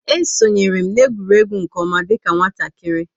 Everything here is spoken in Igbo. E sonyeere m na egwuregwu nke oma dika nwatakịrị